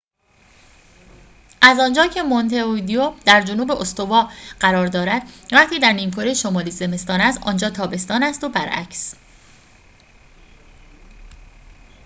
از آنجا که مونته ویدئو در جنوب استوا قرار دارد وقتی در نیمکره شمالی زمستان است آنجا تابستان است و برعکس